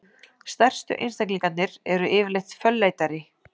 Stærstu einstaklingarnir eru yfirleitt fölleitari.